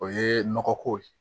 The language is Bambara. O ye nɔgɔ ko ye